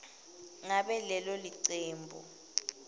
ngabe lelo cembu